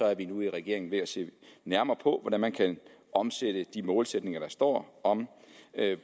er vi nu i regeringen ved at se nærmere på hvordan man kan omsætte de målsætninger der står om